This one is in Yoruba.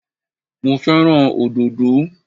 Mo fẹ́ràn òdòdó